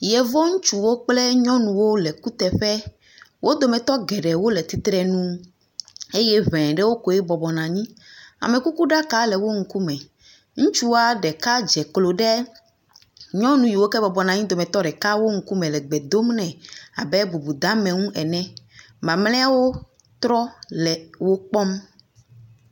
Yevu ŋutsuwo kple nyɔnuwo le kuteƒe. Wo dometɔ geɖewo le titrɛnu eye e ɖe wo kɔe bɔbɔnɔ anyi. Amekukuɖaka le wo nuku me. Ŋutsua ɖeka dze klo ɖe nyɔnuwo yiewo ke bɔbɔnɔ anyi abe bubudeame nu ene. Mamlawo trɔ le wokpɔm.